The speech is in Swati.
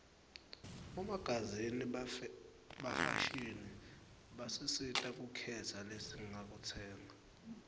bomagazini bafashini basisita kukhetsa lesingakutsenga